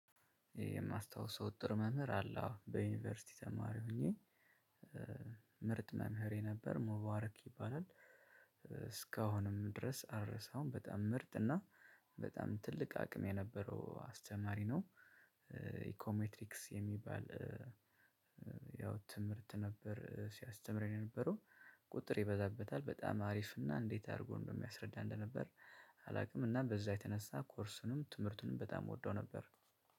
የማስታውሰው ጥሩ መምህር አለ የዩኒቨርሲቲ ተማሪ ሆኜ ምርጥ መምህሬ ነበር ሙባርክ ይባላል እስካሁንም ድረስ አልረሳውም። በጣም ምርጥ እና በጣም ትልቅ አቅም የነበረው አስተማሪ ነው። ኢኮሜትሪክስ የሚባል ያው ትምህርት ነበር ሲያስተምረኝ የነበረው ቁጥር ይበዛበታል በጣም አሪፍ እና እንዴት አድርጎ እንደሚያስረዳ እንደነበር አላውቅም። እና በዛ የተነሳ ኮርሱንም ትምህርቱንም በጣም እወደው ነበር።